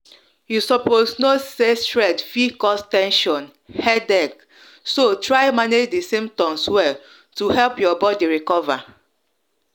you suppose know say fit cause ten sion headache so try manage di symptoms well to help your body recover.